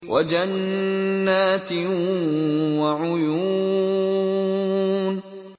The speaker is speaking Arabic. وَجَنَّاتٍ وَعُيُونٍ